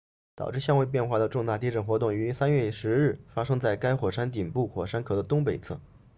导致相位变化的重大地震活动于3月10日发生在该火山顶部火山口的东北侧